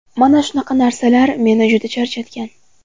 Mana shunaqa narsalar meni juda charchatgan.